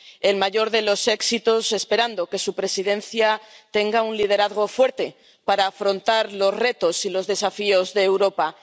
el mayor de los éxitos, esperando que su Presidencia tenga un liderazgo fuerte para afrontar los retos y los desafíos de Europa.